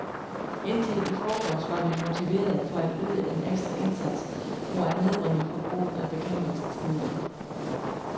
Indtil i forgårs var vi motiverede for at yde en ekstra indsats for at nedbringe forbruget af bekæmpelsesmidler.